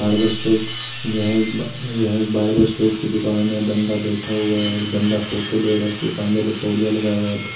Barber shop यह एक यह एक बार्बर शॉप की दूकान है बंदा बैठा हुआ है बंदा फोटो ले रहा है उसके कंधे पे तोलिया लगाया हुआ है।